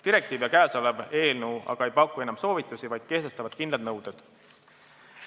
Direktiiv ja käesolev eelnõu aga ei paku enam soovitusi, vaid kehtestavad kindlad nõuded.